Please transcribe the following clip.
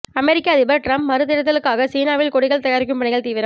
அமெரிக்க அதிபர் டிரம்ப் மறுதேர்தலுக்காக சீனாவில் கொடிகள் தயாரிக்கும் பணிகள் தீவிரம்